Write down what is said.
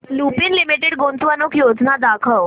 Lupin limited गुंतवणूक योजना दाखव